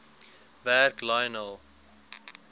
werk lionel